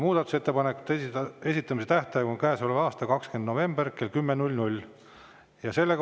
Muudatusettepanekute esitamise tähtaeg on käesoleva aasta 20. november kell 10.